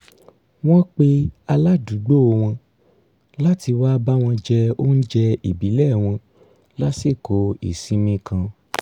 wọ́n pe aládùúgbò wọn láti wá bá wọn jẹ oúnjẹ ìbílẹ̀ wọn lásìkò ìsinmi kan